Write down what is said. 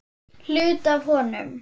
Hluti af honum.